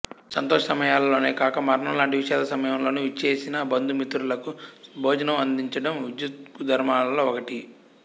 సంతోష సమయాలలోనే కాక మరణం లాంటి విషాద సమయంలోను విచ్చేసిన బందు మిత్రులకు భోజనం అందించడం విద్యుక్తుదర్మాలలో ఒకటి